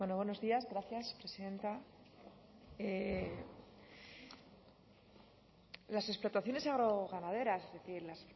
bueno buenos días gracias presidenta las explotaciones agroganaderas es decir las